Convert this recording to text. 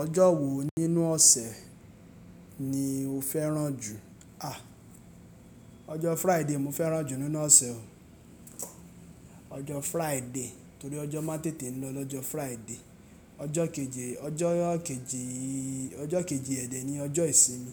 Ọjọ́ wo nínú ọ̀sẹ̀ ni o fẹ́ràn jù? Ah! Ọjọ́ Friday mo fẹ́ràn jù nínú ọ̀sẹ̀ o. Ọjọ́ Friday torí ọjọ́ máa ń tètè ń lọ lọ́jọ́ Friday. Ọjọ́ kejì, ọjọ́ kejì, ọjọ́ kejì ẹ̀ dẹ́ ni ọjọ́ ìsinmi